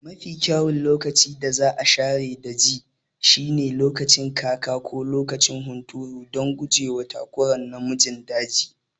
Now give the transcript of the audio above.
Mafi kyawun lokacin da za a share daji shine lokacin kaka ko lokacin hunturu don guje wa takurawa namun daji.